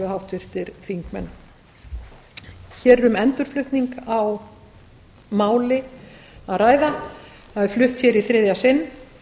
háttvirtir þingmenn hér er um endurflutning á máli að ræða það er flutt hér í þriðja sinn það